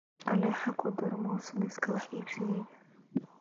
alexa ku dar muus liiska wax iibsigayga